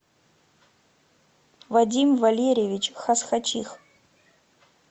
вадим валерьевич хасхачих